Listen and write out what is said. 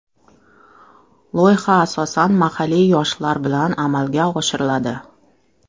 Loyiha asosan mahalliy yoshlar bilan amalga oshiriladi.